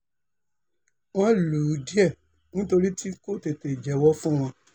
wọ́n lù ú díẹ̀ nítorí tí tí kò tètè jẹ́wọ́ fún wọn